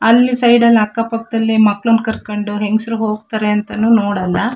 ಅಲ್ಲಿ ಸೈಡ್ ಅಲ್ಲಿ ಅಕ್ಕಪಕ್ಕದಲ್ಲಿ ಮಕ್ಕಳನ್ನ ಕರಕೊಂಡು ಹೆಂಗಸ್ರು ಹೋಗತ್ತರೆ ಅಂತನು ನೋಡಲ್ಲಾ.